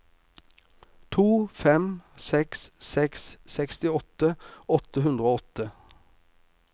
to fem seks seks sekstiåtte åtte hundre og åtte